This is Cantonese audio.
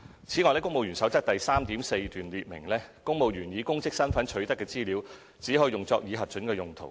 此外，《公務員守則》第 3.4 段列明，公務員以公職身份取得的資料只可用作已核准的用途。